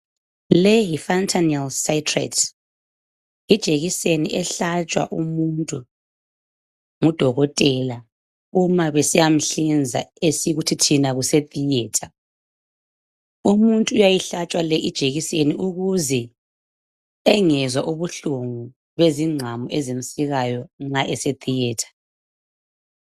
Le yifantanell sytrate, ljekiseni ehlatshwa umuntu ngudokotela, uma besiyanhlinza. Esikuthi thina kusetheatre. Umuntu uyayihlatshwa lijekiseni ukuze angezwa ubuhlungu bezingqamu ezimsikayo, nxa esetheatre.